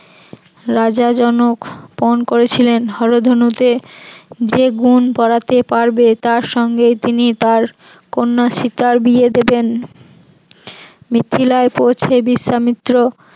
রাজা জনক পন করেছিলেন হরধনুতে যে গুণ পড়াতে পারবে তার সঙ্গে তিনি তার কন্যা সীতার বিয়ে দেবেন, মিথিলায় পৌঁছে বিশ্বমিত্র